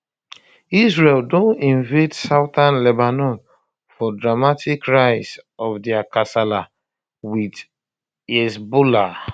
israel don invade southern lebanon for dramatic rise of dia kasala wit hezbollah